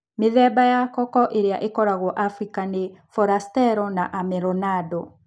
Mithemba ya koko ĩrĩa ĩkoragio Afrika nĩ Forastero na Amelonado.